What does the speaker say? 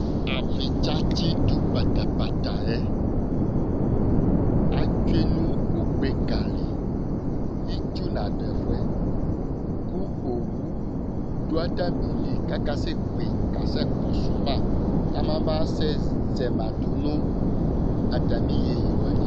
Abitsa tsidu pata pata yɛ atsʋe nʋ ugbe ka li Itsu nadu ɛfʋɛ kʋ owu du atami li kʋ akasɛ kpe kasɛ kɔsuma kama sɛ zɛma du nʋ atami iyeyi zɛlɛ ko ye li